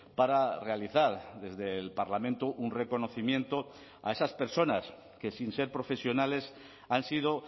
para realizar desde el parlamento un reconocimiento a esas personas que sin ser profesionales han sido